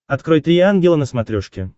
открой три ангела на смотрешке